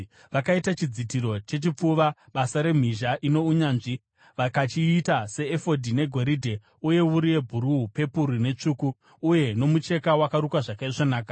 Vakaita chidzitiro chechipfuva, basa remhizha ino unyanzvi. Vakachiita seefodhi: negoridhe, uye wuru yebhuruu, pepuru netsvuku, uye nomucheka wakarukwa zvakaisvonaka.